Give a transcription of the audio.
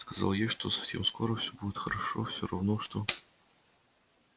сказал ей что совсем скоро всё будет хорошо всё равно что